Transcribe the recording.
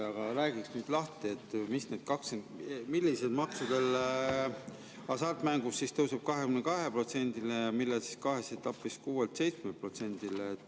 Aga ehk räägiksite lahti, millistel hasartmängudel tõuseb 22%‑le ja millel kahes etapis, 6%‑lt 7%‑le.